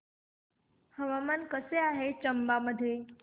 हवामान कसे आहे चंबा मध्ये